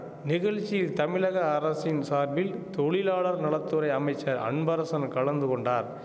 நிகழ்ச்சியில் தமிழக அரசின் சார்பில் தொழிலாளர் நல துறை அமைச்சர் அன்பரசன் கலந்து கொண்டார்